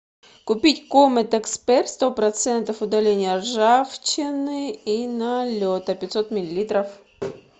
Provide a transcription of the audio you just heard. купить комет эксперт сто процентов удаления ржавчины и налета пятьсот миллилитров